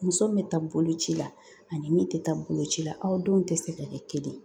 Muso min bɛ taa bolo ci la ani min tɛ taa bolocila aw denw tɛ se ka kɛ kelen ye